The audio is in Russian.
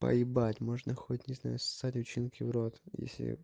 поебать можно хоть я не знаю ссать училке в рот если